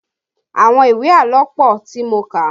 Àwọn ìwé àlọ́ pọ tí mo kà